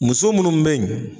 Muso munnu be ɲi